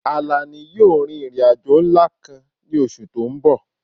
Àlàní yóò rin ìrìn àjò ńlá kan ní oṣù tó ń bọ̀